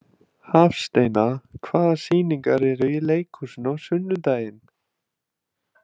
Hafsteina, hvaða sýningar eru í leikhúsinu á sunnudaginn?